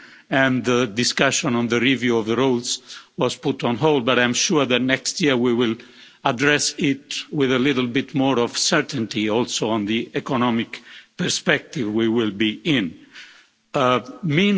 and the discussion on the review of the rules was put on hold, but I'm sure that next year we will address it with a little more certainty, also from the economic perspective at that time.